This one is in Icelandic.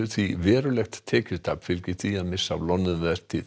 því verulegt tekjutap fylgir því að missa af loðnuvertíð